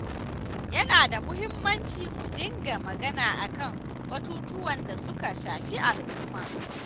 Yana da muhimmanci mu ɗinga magana akan batutuwan da suka shafi al'umma.